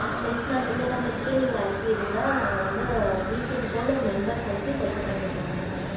yes mam இந்த number கே நீங்க அனுபிருங்க நாங்க வந்து weekend போல members அனுப்பி setup பண்ணிறோம் mam